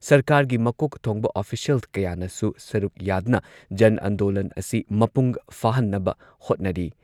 ꯁꯔꯀꯥꯔꯒꯤ ꯃꯀꯣꯛ ꯊꯣꯡꯕ ꯑꯣꯐꯤꯁꯤꯌꯦꯜ ꯀꯌꯥꯅꯁꯨ ꯁꯔꯨꯛ ꯌꯥꯗꯨꯅ ꯖꯟ ꯑꯟꯗꯣꯂꯟ ꯑꯁꯤ ꯃꯄꯨꯡ ꯐꯥꯍꯟꯅꯕ ꯍꯣꯠꯅꯔꯤ꯫